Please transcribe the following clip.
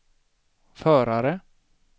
förare